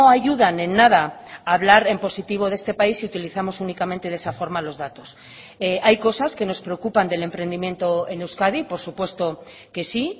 ayudan en nada a hablar en positivo de este país si utilizamos únicamente de esa forma los datos hay cosas que nos preocupan del emprendimiento en euskadi por supuesto que sí